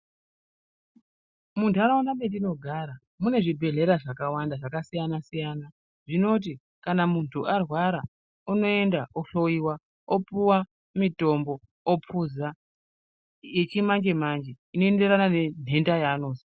Munharaunda mwetinogara mune zvibhedhlera zvakawanda zvakasiyana siyana zvinoti kana munhu arwara unoenda ohloyiwa opuwe mitombo opuza yechimanje manje inoenderana nenhenda yaanozwa.